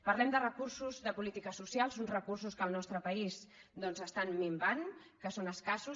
parlem de recursos de polítiques socials uns recur·sos que al nostre país doncs estan minvant que són escassos